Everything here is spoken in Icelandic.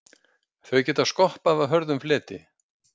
Þau geta skoppað af hörðum fleti.